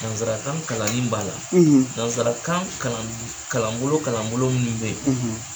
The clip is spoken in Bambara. Nanzarakan kalanni b'a la nanzarakan kalanbolo kalanbolo minnu bɛ ye.